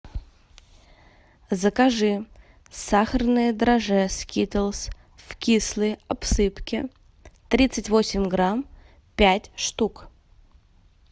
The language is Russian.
закажи сахарное драже скитлс в кислой обсыпке тридцать восемь грамм пять штук